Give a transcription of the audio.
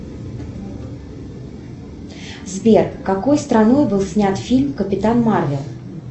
сбер какой страной был снят фильм капитан марвел